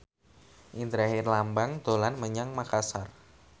Indra Herlambang dolan menyang Makasar